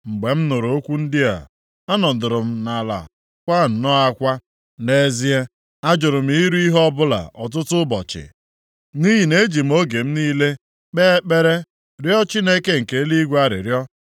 Mgbe m nụrụ okwu ndị a, anọdụrụ m ala kwaa nnọọ akwa. Nʼezie, ajụrụ m iri ihe ọbụla ọtụtụ ụbọchị, nʼihi na eji m oge m niile kpee ekpere rịọ Chineke nke eluigwe arịrịọ,